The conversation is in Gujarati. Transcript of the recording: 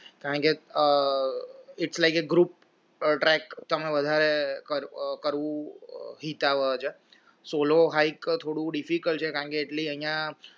કારણ કે it likes a group track તમે વધારે કરવું solo hike થોડું difficult છે કારણ કે અહિયાં